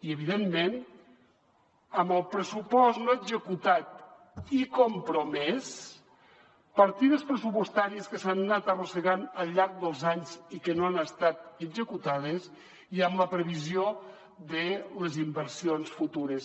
i evidentment amb el pressupost no executat i compromès partides pressupostàries que s’han anat arrossegant al llarg dels anys i que no han estat executades i amb la previsió de les inversions futures